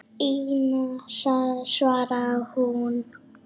Ína, svaraði hún.